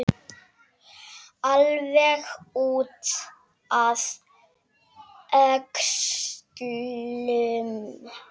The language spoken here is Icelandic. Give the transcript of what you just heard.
Alveg út að öxlum!